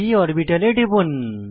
p অরবিটালে টিপুন